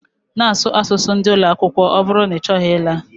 Na asụ asụsụ ndi ụloakwụkwọ ọ bụrụ na ichọghị ịla